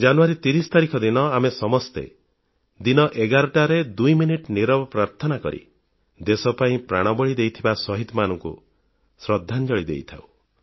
ଜାନୁୟାରୀ 30 ତାରିଖ ଦିନ ଆମେ ସମସ୍ତେ 11ଟାରେ ଦୁଇ ମିନିଟ ନୀରବ ପ୍ରାର୍ଥନା କରି ଦେଶ ପାଇଁ ପ୍ରାଣବଳି ଦେଇଥିବା ଶହୀଦମାନଙ୍କୁ ଶ୍ରଦ୍ଧାଞ୍ଜଳି ଦେଇଥାଉଁ